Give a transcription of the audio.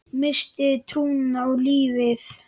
Missti trúna á lífið.